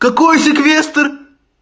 какой секвестр